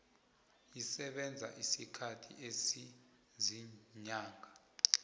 isebenza isikhathi esiziinyanga